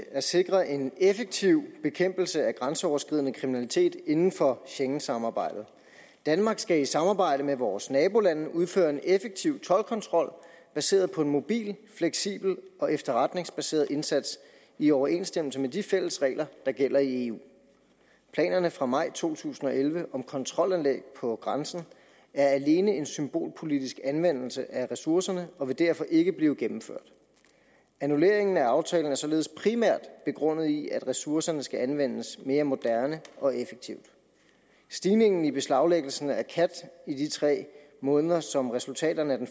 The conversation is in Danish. at sikre en effektiv bekæmpelse af grænseoverskridende kriminalitet inden for schengensamarbejdet danmark skal i samarbejde med vores nabolande udføre en effektiv toldkontrol baseret på en mobil fleksibel og efterretningsbaseret indsats i overensstemmelse med de fælles regler der gælder i eu planerne fra maj to tusind og elleve om kontrolanlæg på grænsen er alene en symbolpolitisk anvendelse af ressourcerne og vil derfor ikke blive gennemført annulleringen af aftalen er således primært begrundet i at ressourcerne skal anvendes mere moderne og effektivt stigningen i beslaglæggelsen af khat i de tre måneder som resultaterne af den